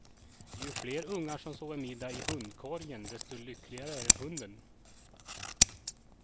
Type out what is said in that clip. Ju fler ungar som sover middag i hundkorgen, desto lyckligare är hunden.